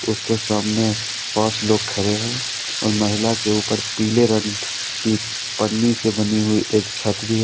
उसके सामने पांच लोग खड़े हैं और महिला के ऊपर पीले रंग की पन्नी से बनी हुई एक छत भी है।